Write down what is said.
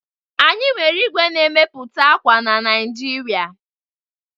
Anyị nwere igwe n'emepụta akwa na Nigeria